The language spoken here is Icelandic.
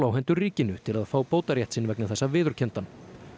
á hendur ríkinu til að fá bótarétt sinn vegna þessa viðurkenndan